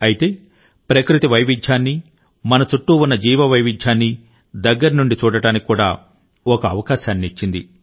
అయితే ఇది ప్రకృతి వైవిధ్యాన్ని మన చుట్టూ ఉన్న జీవ వైవిధ్యాన్ని దగ్గరి నుండి చూడటానికి కూడా ఒక అవకాశాన్ని ఇచ్చింది